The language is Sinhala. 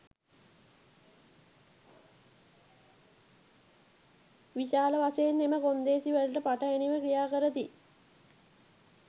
විශාල වශයෙන් එම කොන්දේසිවලට පටහැනිව ක්‍රියා කරති